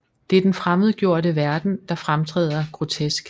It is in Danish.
Det er den fremmedgjorte verden der fremtræder grotesk